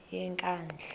yenkandla